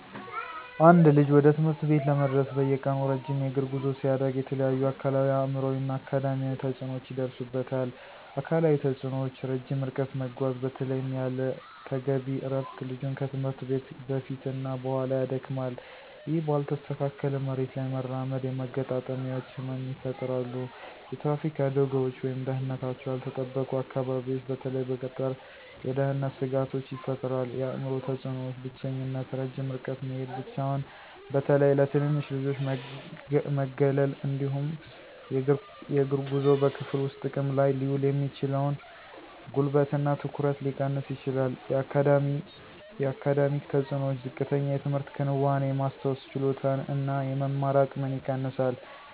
አንድ ልጅ ወደ ትምህርት ቤት ለመድረስ በየቀኑ ረጅም የእግር ጉዞ ሲያደርግ የተለያዩ አካላዊ፣ አእምሯዊ እና አካዳሚያዊ ተጽዕኖዎች ይደርሱበታል። አካላዊ ተጽእኖዎች - ረጅም ርቀት መጓዝ በተለይም ያለ ተገቢ እረፍት ልጁን ከትምህርት ቤት በፊት እና በኋላ ያደክማል። ይህ ባልተስተካከለ መሬት ላይ መራመድ የመገጣጠሚያዎች ህመም ይፈጠራሉ። የትራፊክ አደጋዎች ወይም ደህንነታቸው ያልተጠበቁ አካባቢዎች በተለይ በገጠር የደህንነት ስጋቶች ይፈጥራል። የአእምሮ ተፅእኖዎች - ብቸኝነት ረጅም ርቀት መሄድ ብቻውን በተለይ ለትንንሽ ልጆች መገለል። እንዲሁም የእግር ጉዞው በክፍል ውስጥ ጥቅም ላይ ሊውል የሚችለውን ጉልበት እና ትኩረት ሊቀንስ ይችላል። የአካዳሚክ ተፅእኖዎች - ዝቅተኛ የትምህርት ክንዋኔ፣ የማስታወስ ችሎታን እና የመማር አቅምን ይቀንሳል።